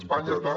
espanya està